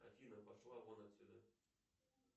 афина пошла вон отсюда